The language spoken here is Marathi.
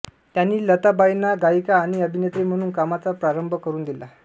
त्यांनी लताबाईंना गायिका आणि अभिनेत्री म्हणून कामाचा प्रारंभ करून दिला